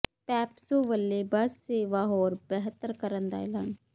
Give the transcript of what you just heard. ਪੈਪਸੂ ਵੱਲੋਂ ਬੱਸ ਸੇਵਾ ਹੋਰ ਬਿਹਤਰ ਕਰਨ ਦਾ ਐਲਾਨ